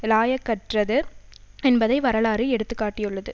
இலாயக்கற்றது என்பதை வரலாறு எடுத்து காட்டியுள்ளது